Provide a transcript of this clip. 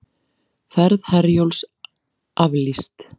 Ferð Herjólfs aflýst